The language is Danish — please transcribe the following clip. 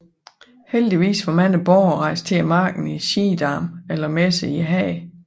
Heldigvis var mange borgere rejst til markedet i Schiedam eller messe i Haag